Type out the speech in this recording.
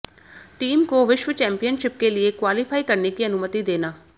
team को विश्व championship के लिए क्वालीफाई करने की अनुमति देना